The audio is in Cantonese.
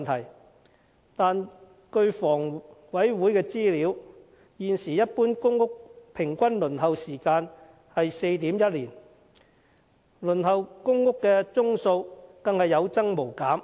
然而，根據香港房屋委員會的資料，現時一般公屋的平均輪候時間是 4.1 年，而輪候公屋的宗數更是有增無減。